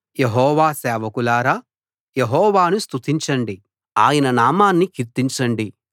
యెహోవా సేవకులారా యెహోవాను స్తుతించండి ఆయన నామాన్ని కీర్తించండి